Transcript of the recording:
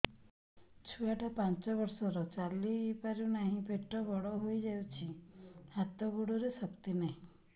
ଛୁଆଟା ପାଞ୍ଚ ବର୍ଷର ଚାଲି ପାରୁ ନାହି ପେଟ ବଡ଼ ହୋଇ ଯାଇଛି ହାତ ଗୋଡ଼ରେ ଶକ୍ତି ନାହିଁ